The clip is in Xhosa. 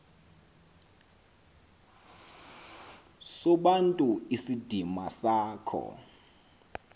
sobuntu isidima sakho